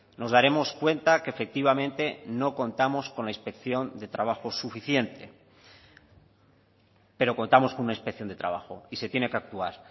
nos daremos cuenta que efectivamente no contamos con la inspección de trabajo suficiente pero contamos con una inspección de trabajo y se tiene que actuar